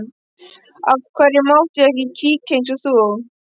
Af hverju mátti ég ekki kíkja eins og þú?